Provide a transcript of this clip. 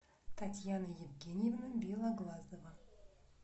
татьяна евгеньевна белоглазова